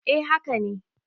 eh haka ne